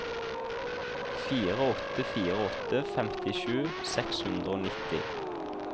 fire åtte fire åtte femtisju seks hundre og nitti